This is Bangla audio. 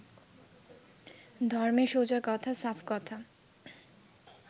ধর্মে, সোজা কথা সাফ কথা